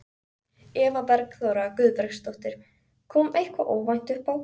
Eva Bergþóra Guðbergsdóttir: Kom eitthvað óvænt uppá?